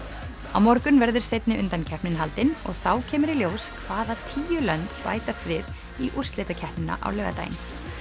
á morgun verður seinni undankeppnin haldin og þá kemur í ljós hvaða tíu lönd bætast við í úrslitakeppnina á laugardaginn